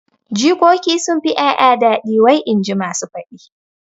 Jikoki sunfi ƴaƴa daɗi wai inji masu faɗi